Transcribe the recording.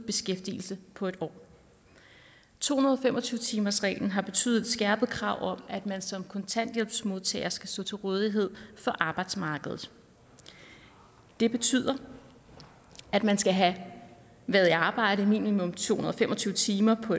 beskæftigelse på et år to hundrede og fem og tyve timersreglen har betydet skærpede krav om at man som kontanthjælpsmodtager skal stå til rådighed for arbejdsmarkedet det betyder at man skal have været i arbejde minimum to hundrede og fem og tyve timer på